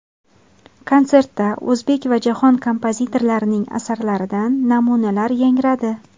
Konsertda o‘zbek va jahon kompozitorlarining asarlaridan namunalar yangradi.